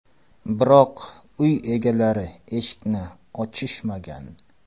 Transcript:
Biroq, uy egalari eshikni ochishmagan.